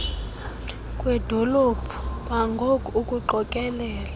kwedolo kwangoku ukuqokelela